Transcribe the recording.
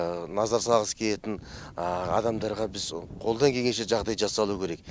назар салғысы келетін адамдарға біз қолдан келгенше жағдай жасалу керек